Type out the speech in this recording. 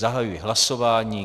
Zahajuji hlasování.